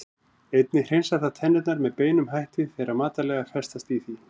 Einnig hreinsar það tennurnar með beinum hætti þegar matarleifar festast í því.